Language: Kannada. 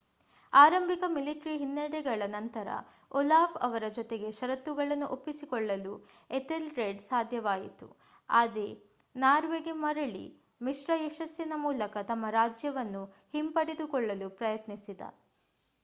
ಆರಂಭಿಕ ಮಿಲಿಟರಿ ಹಿನ್ನಡೆಗಳ ನಂತರ ಓಲಾಫ್ ಅವರ ಜೊತೆಗೆ ಷರತ್ತುಗಳನ್ನು ಒಪ್ಪಿಕೊಳ್ಳಲು ಎಥೆಲ್ರೆಡ್‌ಗೆ ಸಾಧ್ಯವಾಯಿತು ಆತ ನಾರ್ವೆಗೆ ಮರಳಿ ಮಿಶ್ರ ಯಶಸ್ಸಿನ ಮೂಲಕ ತಮ್ಮ ರಾಜ್ಯವನ್ನು ಹಿಂಪಡೆದುಕೊಳ್ಳಲು ಪ್ರಯತ್ನಿಸಿದ